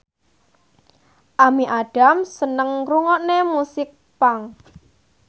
Amy Adams seneng ngrungokne musik punk